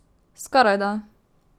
Skorajda.